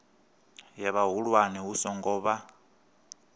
ya vhahulwane hu songo vha